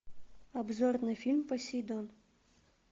обзор на фильм посейдон